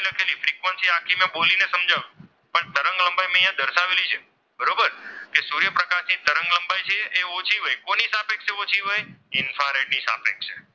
લંબાઈ છે એ ઓછી હોય કોની સાપેક્ષ ઓછી હોય? ઇન્ફ્રારેડ ની સાપેક્ષ.